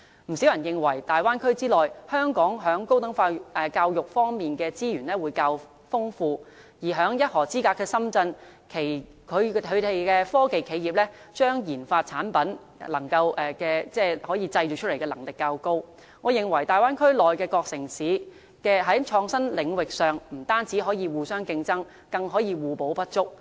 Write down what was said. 不少人認為在大灣區內，香港在高等教育方面的資源較為豐富，而在一河之隔的深圳，其科技企業把研發產品製造出來的能力較高，我認為大灣區的各城市在創新領域上不僅可以互相競爭，更可互補不足。